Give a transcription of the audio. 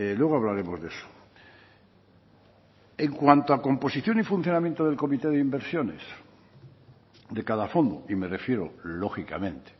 luego hablaremos de eso en cuanto a composición y funcionamiento del comité de inversiones de cada fondo y me refiero lógicamente